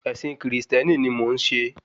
Ẹ̀sìn kìrìsìtẹ́nì ni mò ń ṣe